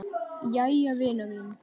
Jæja vina mín.